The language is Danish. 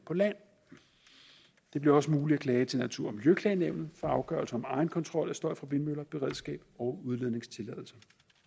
på land det bliver også muligt at klage til natur og miljøklagenævnet for afgørelser egenkontrol af støj fra vindmøller beredskab og udledningstilladelser